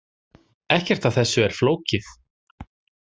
Ekkert af þessu er flókið